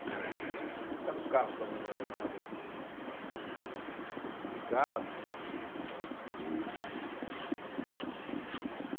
Tinha duplicados, os carros também não eram nada assim, né, muito sofisticado. E